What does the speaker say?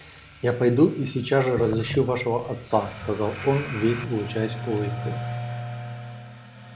я пойду и сейчас же разыщу вашего отца сказал он весь лучась улыбкой